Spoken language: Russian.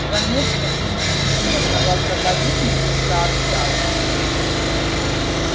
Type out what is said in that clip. заметка из ежедневного проповедника сообщала